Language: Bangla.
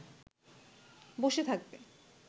বসে থাকবে